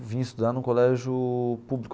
Vim estudar num colégio público.